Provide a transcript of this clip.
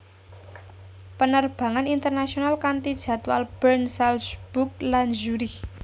Penerbangan internasional kanti jadwal Bern Salzburg lan Zurich